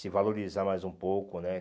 Se valorizar mais um pouco, né?